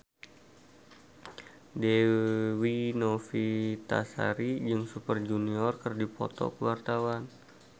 Dewi Novitasari jeung Super Junior keur dipoto ku wartawan